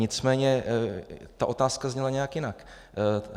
Nicméně ta otázka zněla nějak jinak.